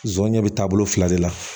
Zonɲɛ be taa bolo fila de la